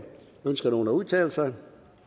ønsker nogen at udtale sig